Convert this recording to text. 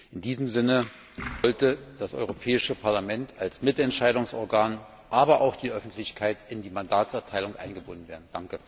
In diesem Sinne sollte das Europäische Parlament als Mitentscheidungsorgan aber auch die Öffentlichkeit in die Mandatserteilung eingebunden werden.